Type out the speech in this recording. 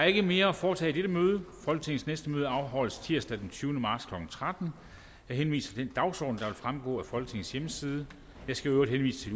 ikke mere at foretage i dette møde folketingets næste møde afholdes tirsdag den tyvende marts klokken tretten jeg henviser til den dagsorden der vil fremgå af folketingets hjemmeside jeg skal øvrigt henvise til